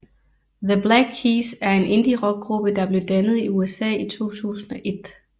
The Black Keys er en Indie rock gruppe der blev dannet i USA i 2001